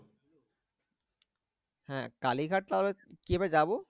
হ্যাঁ কালীঘাট তাহলে কি ভাবে যাবো?